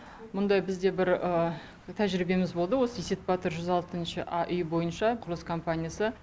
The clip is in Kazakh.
мұндай бізде бір тәжірибеміз болды осы есепбатыр жүз алтыншы а үйі бойынша құрылыс компаниясы